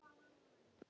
Ég græt vegna mín.